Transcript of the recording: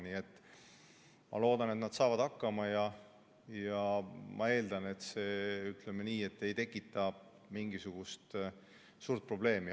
Nii et ma loodan, et nad saavad hakkama, ja ma eeldan, et see ei tekita mingisugust suurt probleemi.